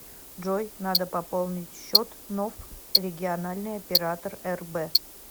джой надо пополнить счет ноф региональный оператор рб